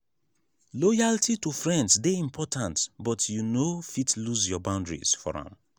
loyalty to friends dey important but you no fit lose your boundaries for am.